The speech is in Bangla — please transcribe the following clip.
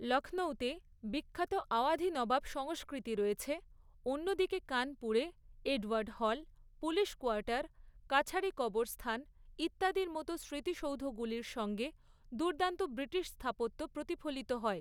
লক্ষ্ণৌতে বিখ্যাত আওয়াধি নবাব সংস্কৃতি রয়েছে, অন্যদিকে কানপুরে এডওয়ার্ড হল, পুলিশ কোয়ার্টার, কাছারি কবরস্থান ইত্যাদির মতো স্মৃতিসৌধগুলির সঙ্গে দুর্দান্ত ব্রিটিশ স্থাপত্য প্রতিফলিত হয়।